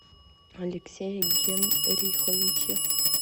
алексее генриховиче